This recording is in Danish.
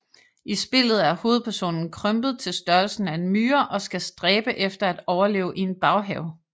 I spillet er hovedpersonen krympet til størrelsen af en myre og skal stræbe efter at overleve i en baghave